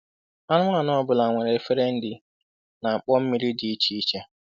Anụmanụ ọ bụla nwere efere nri na mkpọ mmiri dị iche iche.